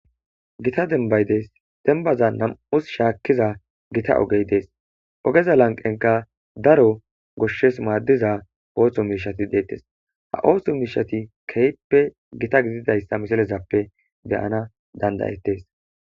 gita denbay dees dembaza nam7us shaakkiza gita ogey dees ogeza lanqenka daro goshshes maaddiza oohsho miishati deettes ha ooso miishati kehppe gita gididayssa mishilezappe beyana dandayettes